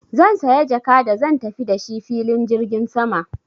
Zan saya jaka da zan tafi da shi filin jirgin sama.